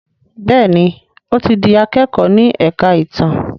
Béèni o tí dì akẹkọ ní èka ìtàn.